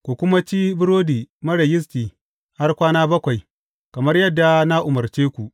Ku kuma ci burodi marar yisti har kwana bakwai, kamar yadda na umarce ku.